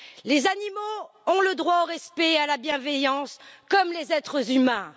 Les animaux ont le droit au respect et à la bienveillance, comme les êtres humains.